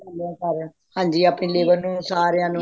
ਹਾਂਜੀ ਆਪਣੀ labor ਨੂੰ ਸਾਰਿਆਂ ਨੂੰ